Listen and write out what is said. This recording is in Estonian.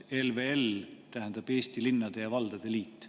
ELVL tähendab Eesti Linnade ja Valdade Liitu.